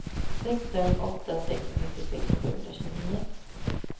sex fem åtta sex nittiosex sjuhundratjugonio